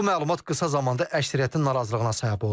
Bu məlumat qısa zamanda əksəriyyətin narazılığına səbəb oldu.